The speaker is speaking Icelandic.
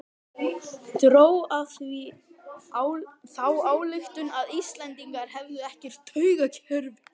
Dró af því þá ályktun að Íslendingar hefðu ekkert taugakerfi.